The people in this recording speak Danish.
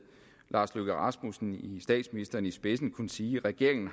statsministeren i spidsen eksempelvis kunne sige at regeringen